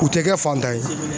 U tɛ kɛ fantan ye